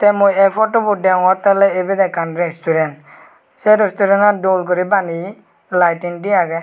tey mui ei potobot degongottey oley ebet resturen sey resturenan dol guri baneye laitin dey agey.